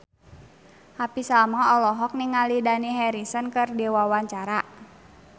Happy Salma olohok ningali Dani Harrison keur diwawancara